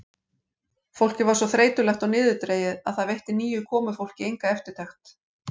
Fólkið var svo þreytulegt og niðurdregið að það veitti nýju komufólki enga eftirtekt.